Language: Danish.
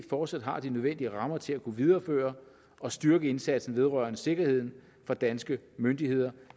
fortsat har de nødvendige rammer til at kunne videreføre og styrke indsatsen vedrørende sikkerheden for danske myndigheder